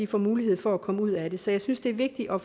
får mulighed for at komme ud af det så jeg synes det er vigtigt at